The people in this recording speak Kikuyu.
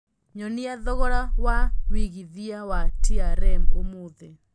nyonia thogora wa wĩigĩthĩa wa trm ũmũthi